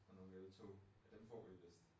Og nogle eltoge. Men dem får vi vist